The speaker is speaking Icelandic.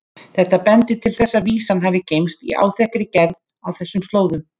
Þetta bendir til þess að vísan hafi geymst í áþekkri gerð á þessum slóðum.